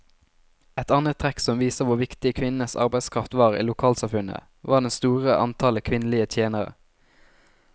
Et annet trekk som viser hvor viktig kvinnenes arbeidskraft var i lokalsamfunnet, var det store antallet kvinnelige tjenere.